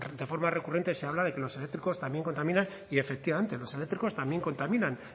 de forma recurrente se habla que los eléctricos también contaminan y efectivamente los eléctricos también contaminan